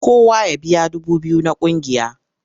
Kowa ya biya dubu biyu na ƙungiya!